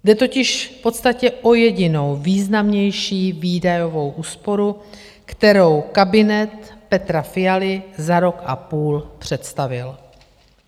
Jde totiž v podstatě o jedinou významnější výdajovou úsporu, kterou kabinet Petra Fialy za rok a půl představil.